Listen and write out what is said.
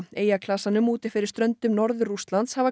eyjaklasanum úti fyrir stöndum Norður Rússlands hafa